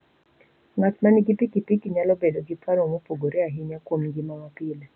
Ng'at ma nigi pikipiki nyalo bedo gi paro mopogore ahinya kuom ngima mapile.